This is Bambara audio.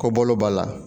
Ko bolo b'a la